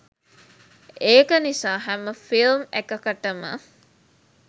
ඒක නිසා හැම ෆිල්ම් එකකටම